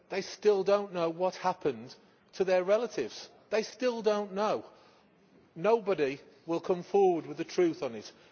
They still do not know what happened to their relatives. They still do not know! Nobody will come forward with the truth on this.